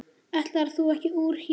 Ætlaðir þú ekki úr hér?